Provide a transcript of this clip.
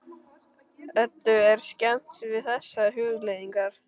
Eddu er skemmt við þessar hugleiðingar.